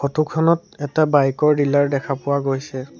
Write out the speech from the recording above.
Photo খনত এটা bike ৰ ডিলাৰ দেখা পোৱা গৈছে।